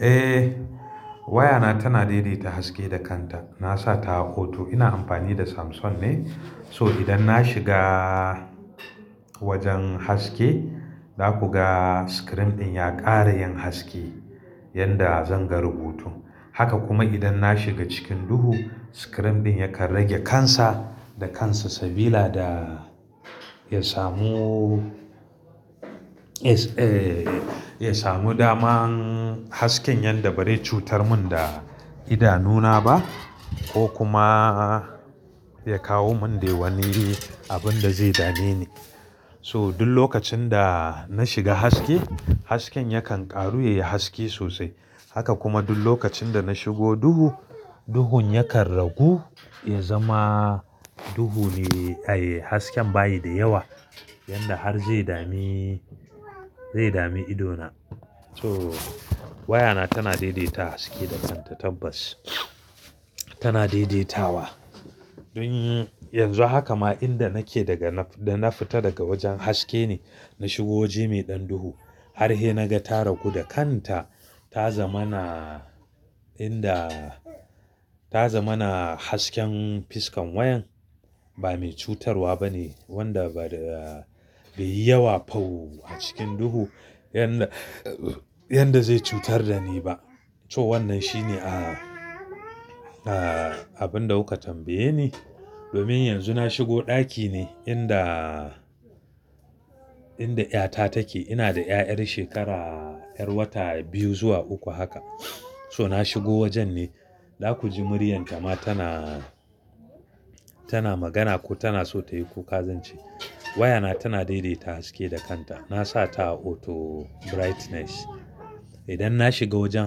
Eh waya na tana daidaita haske da kanta. Na sa ta auto. Ina amfani da Samsung ne, so idan na shiga wajen haske za ku ga screen ɗin ya ƙara yin haske yanda zan ga rubutu. Haka kuma idan na shiga cikin duhu screen ɗin yakan rage kansa da kansa sabila da ya samu, eh ya samu daman hasken yanda ba zai cutar mun da idanu na ba ko kuma ya kawo mun dai wani abin da zai dame ni. So duk lokacin da na shiga haske, hasken yakan ƙaru ya yi haske sosai. Haka kuma duk lokacin da na shigo duhu, duhun yakan ragu ya zama duhu ne, ai hasken bayi da yawa yanda har zai dami, zai dami idona. So waya na tana daidaita haske da kanta tabbas tana daidaitawa. Dun yi, yanzu haka ma inda nake daga, da na fita daga wajen haske ne, na shigo waje mai ɗan duhu har he na ga ta ragu da kanta, ta zama na inda, ta zama na hasken fiskan wayan. Ba mai cutarwa bane, wanda ba da be yi yawa fau a cikin duhu yanda, yanda zai cutar da ni ba. So wannan shine a, a abin da kuka tambaye ni. Domin yanzu na shigo ɗaki ne inda, inda ƴa ta take. Ina da ƴaƴar shekara, 'yar wata biyu zuwa uku haka. So na shigo wajen ne, za ku ji muryar ta ma tana, tana magana ko tana so ta yi kuka zance. Wayana tana daidaita haske da kanta. Na sa ta auto brightness. Idan na shiga wajen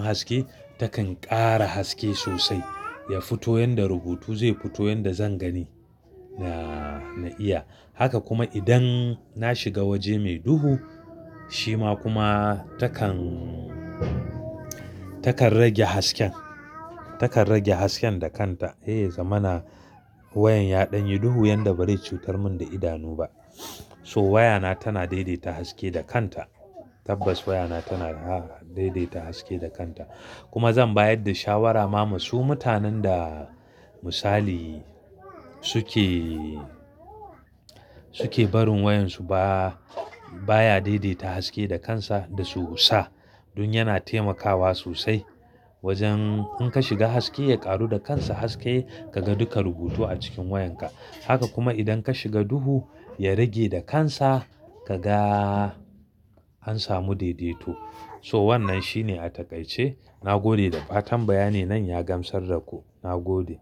haske takan ƙara haske sosai, ya fito yanda rubutu zai fito, yanda zan gani da na iya. Haka kuma idan na shiga waje mai duhu shima kuma takan, takan rage hasken, takan rage hasken da kanta. Eh za mana wayan ya ɗan yi duhu yanda bai cutar mun da idanu ba. So waya na tana daidaita haske da kanta. Tabbas waya na tana da daidaita haske da kanta. Kuma zan bayar da shawara ma masu, mutanen da misali suke, suke barin wayan su ba, baya daidaita haske da kansa da su sa. Don yana taimakawa sosai wajen in ka shiga haske ya ƙaru da kansa haske ka ga duka rubutu a cikin wayan ka. Haka kuma idan ka shiga duhu ya rage da kansa ka ga an samu daidaito. So wannan shine a takaice. Na gode da fatan bayani nan ya gamsar da ku. Na gode.